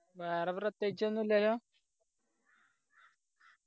വേറെ പ്രത്യേകിച്ച് ഒന്നുല്ലല്ലോ